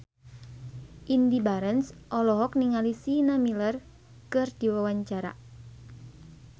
Indy Barens olohok ningali Sienna Miller keur diwawancara